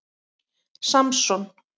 Samson